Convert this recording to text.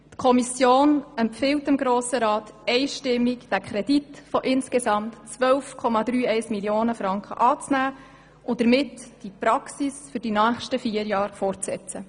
Die Kommission empfiehlt dem Grossen Rat einstimmig, diesen Kredit von insgesamt 12,31 Mio. Franken anzunehmen und die Aufgabe in den nächsten vier Jahren fortzusetzen.